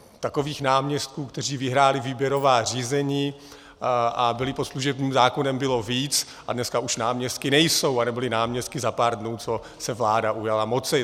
Takových náměstků, kteří vyhráli výběrová řízení a byli pod služebním zákonem, bylo víc, a dneska už náměstky nejsou a nebyli náměstky za pár dnů, co se vláda ujala moci.